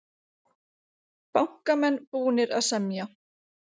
Bankamenn búnir að semja